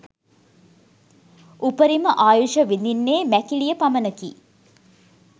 උපරිම ආයුෂ විඳින්නේ මැකිලිය පමණකි.